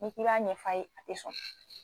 N'i b'a ɲɛf'a ye a tɛ sɔn.